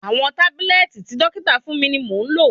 Àwọn tábúlẹ́ẹ̀tì tí dọ́kítà fún mi ni mò ń lò.